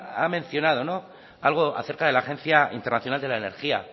ha mencionado algo acerca de la agencia internacional de la energía